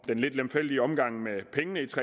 den lidt lemfældige omgang med pengene